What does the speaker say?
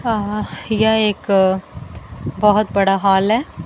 अह यह एक बहुत बड़ा हॉल है।